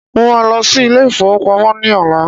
Mo ma lọ sí ilé ìfowópamọ́ ní ọ̀la